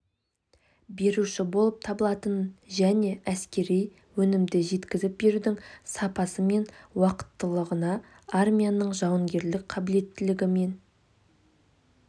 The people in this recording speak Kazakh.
беруші болып табылатынын және әскери өнімді жеткізіп берудің сапасы мен уақыттылығына армияның жауынгерлік қабілеттілігі мен